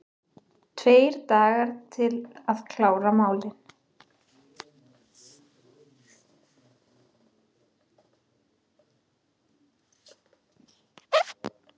Tveir dagar til að klára málin